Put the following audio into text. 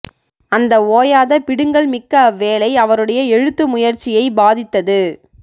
அந்த ஓயாத பிடுங்கல் மிக்க அவ்வேலை அவருடைய எழுத்து முயற்சியைப் பாதித்தது